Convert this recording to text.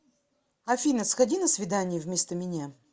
афина сходи на свидание вместо меня